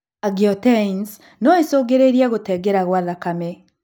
Angioteins no ĩcũngĩrĩrie gũteng’era gwa thakame